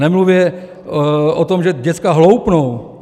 Nemluvě o tom, že děcka hloupnou.